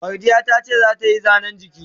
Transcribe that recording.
Mardiya tace ta yi Zane's giki.